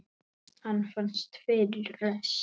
Hann fannst fyrir rest!